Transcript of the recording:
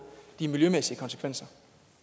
de miljømæssige konsekvenser